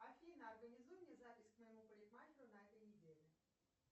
афина организуй мне запись к моему парикмахеру на этой неделе